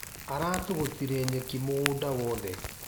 Aratũgũtire nyeki mũgũda wothe.